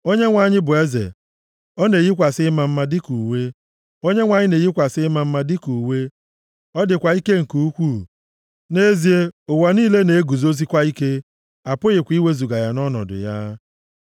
Onyenwe anyị bụ eze, ọ na-eyikwasị ịma mma dịka uwe; Onyenwe anyị na-eyikwasị ịma mma dịka uwe, ọ dịkwa ike nke ukwuu; nʼezie, ụwa niile na-eguzosikwa ike; apụghịkwa iwezuga ya nʼọnọdụ ya.